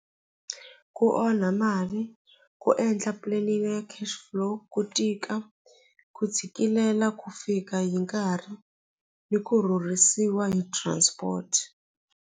Ku onha mali ku endla planning ya cash flow ku tika ku tshikilela ku fika hi nkarhi ni ku rhurhisiwa hi transport.